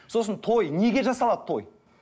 сосын той неге жасалады той